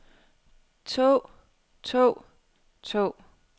tog tog tog